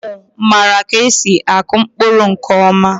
Ụmụ mara ka esi akụ mkpụrụ nke ọma